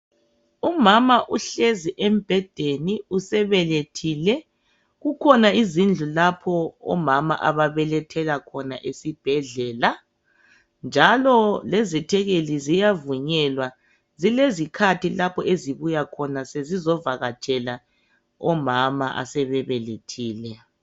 Umama uhlezi embhedeni. Usebelethile. Kukhona izindlu lapho omama ababelethela khona esibhedlela, njalo lezethekeli ziyavunyelwa. Zilezikhathi lapho ezibuya khona sezizovakatshela omama asebebelethile.